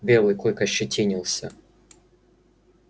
белый клык ощетинился